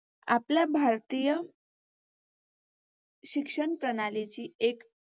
आपल्या भारतीय शिक्षण प्रणालीची एक